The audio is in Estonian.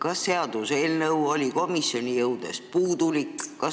Kas seaduseelnõu oli komisjoni jõudes puudulik?